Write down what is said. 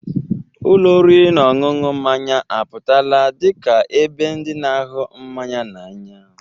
Ụlọ oriri na ọṅụṅụ mmanya apụtala dị ka ebe ndị na-ahụ mmanya n'anya.